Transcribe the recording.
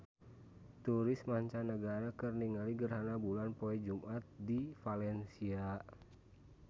Turis mancanagara keur ningali gerhana bulan poe Jumaah di Valencia